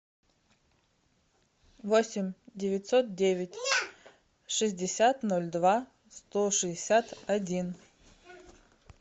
восемь девятьсот девять шестьдесят ноль два сто шестьдесят один